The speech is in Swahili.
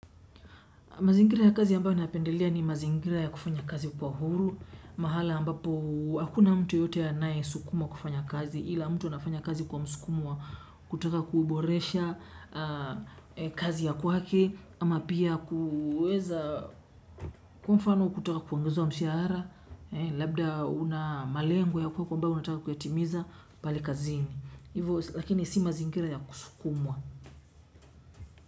Mazingira ya kazi ambayo napendelea ni mazingira ya kufanya kazi kwa uhuru, mahala ambapo hakuna mtu yote anaesukumwa kufanya kazi, ila mtu anafanya kazi kwa msukumo wa kutaka kuuboresha kazi ya kwake, ama pia kuweza kwa mfano kutaka kuongezwa mshahara, labda una malengo ya kwako ambayo unataka kuyatimiza pale kazini. Hivyo lakini si mazingira ya kusukumwa.